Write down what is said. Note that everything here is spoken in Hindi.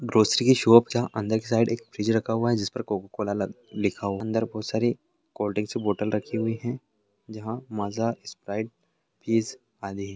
ग्रोसरी की शॉप जहाँ अंदर की साइड एक फ्रिज रखा हुआ है जिस पर कोका-कोला ल लिखा हुआ अंदर बहोत सारी कोल्ड्रिंक्स की बोटल रखी हुई है जहाँ माजा स्प्राइट फीज आदि --